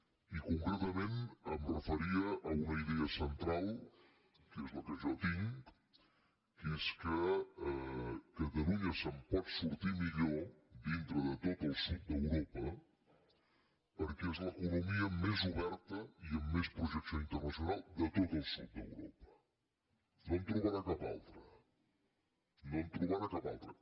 i concretament em referia a una idea central que és la que jo tinc que és que catalunya se’n pot sortir millor dintre de tot el sud d’europa perquè és l’economia més oberta i amb més projecció internacional de tot el sud d’europa no en trobarà cap altra no en trobarà cap altra